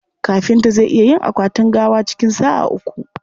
Kafinta zai iya yin akwatin gawa cikin sa'a uku..